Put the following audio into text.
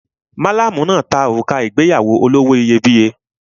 Malamu náà ta òrùka ìgbéyàwó olówó iyebíye.